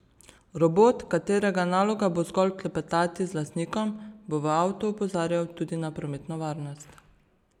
Robot, katerega naloga bo zgolj klepetati z lastnikom, bo v avtu opozarjal tudi na prometno varnost.